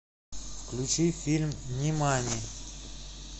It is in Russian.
включи фильм нимани